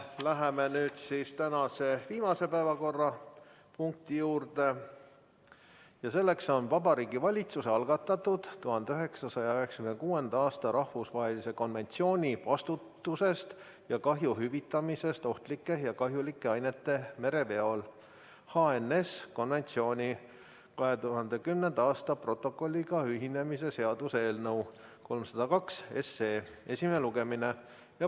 Läheme nüüd tänase viimase päevakorrapunkti juurde: Vabariigi Valitsuse algatatud 1996. aasta rahvusvahelise konventsiooni vastutusest ja kahju hüvitamisest ohtlike ja kahjulike ainete mereveol 2010. aasta protokolliga ühinemise seaduse eelnõu 302 esimene lugemine.